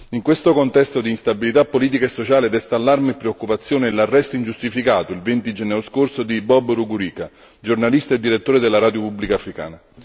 In questo contesto d'instabilità politica e sociale desta allarme e preoccupazione l'arresto ingiustificato, il 20 gennaio scorso, di Bob Rugurika, giornalista e direttore della radio pubblica africana.